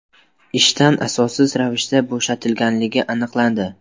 ishdan asossiz ravishda bo‘shatilganligi aniqlandi.